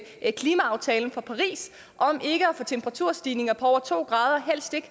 klimaaftalen fra paris om ikke at få temperaturstigninger på over to grader og helst ikke